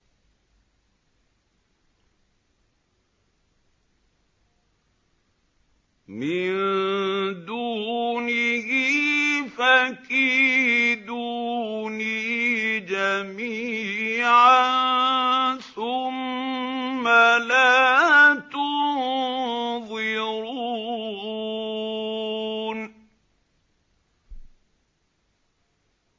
مِن دُونِهِ ۖ فَكِيدُونِي جَمِيعًا ثُمَّ لَا تُنظِرُونِ